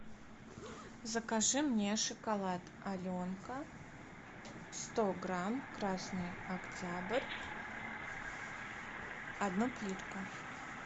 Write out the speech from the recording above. закажи мне шоколад аленка сто грамм красный октябрь одну плитку